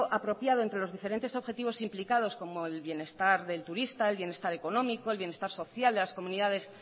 apropiado entre los diferentes objetivos implicados como el bienestar del turista el bienestar económico el bienestar social de las comunidades